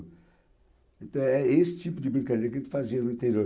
Então, é esse tipo de brincadeira que a gente fazia no interior.